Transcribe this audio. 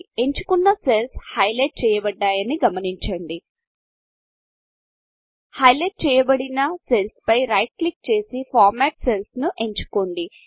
ఎంచుకున్న cells highlight చేయబడ్దాయని గమనించండి హైలైట్ చేయబడిన సెల్స్ పై రైట్ క్లిక్ చేసి Formatఫార్మ్యాట్ సెల్స్ ఎంచుకోండి